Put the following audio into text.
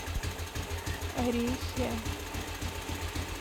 орехи